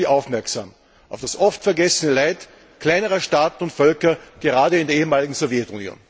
14. Juni aufmerksam auf das oft vergessene Leid kleinerer Staaten und Völker gerade in der ehemaligen Sowjetunion.